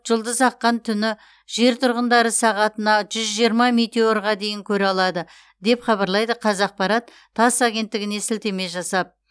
жұлдыз аққан түні жер тұрғындары сағатына жүз жиырма метеорға дейін көре алады деп хабарлайды қазақпарат тасс агенттігіне сілтеме жасап